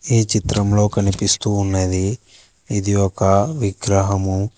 ఈ చిత్రంలో కనిపిస్తూ ఉన్నది ఇది ఒక విగ్రహము.